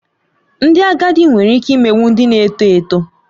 Ndị agadi nwere ike imegbu ndị na-eto eto